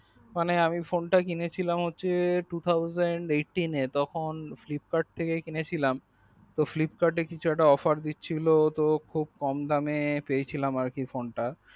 মানে আমি phone তা কিনেছিলাম হচ্ছে two thousand eighteen এ তখন flipkart থেকে কিনেছিলাম তো flipkart কিছু একটা অফার দিচ্ছিলো খুব কম দামে পেয়েছিলাম ফোন তা